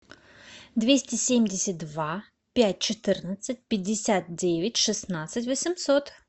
двести семьдесят два пять четырнадцать пятьдесят девять шестнадцать восемьсот